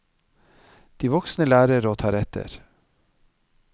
De voksne lærer, og tar etter.